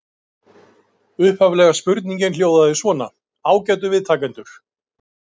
Brotnar saman í nýrri heimildarmynd